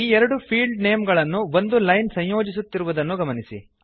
ಈ ಎರಡು field name ಗಳನ್ನು ಒಂದು ಲೈನ್ ಸಂಯೋಜಿಸುತ್ತಿರುವುದನ್ನು ಗಮನಿಸಿ